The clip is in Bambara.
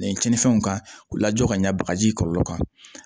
cɛnnifɛnw ka u lajɔ ka ɲɛ bagaji kɔlɔlɔ kan